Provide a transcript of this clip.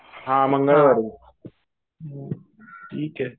हा मंगळवारी. ठीक आहे.